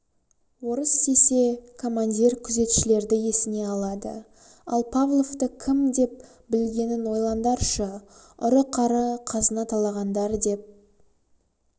орыс десе командир күзетшілерді есіне алады ал павловты кім деп білгенін ойландаршы ұры-қары қазына талағандар деп